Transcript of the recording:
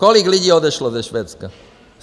Kolik lidí odešlo ze Švédska.